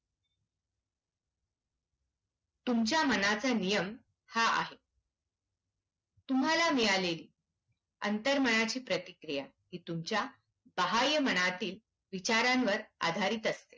तुमच्या मनाचा नियम हा आहे. तुम्हाला मिळालेली अंतर्मनाची प्रतिक्रिया ती तुमच्या बाह्यमनातील विचारांवर आधारित असते.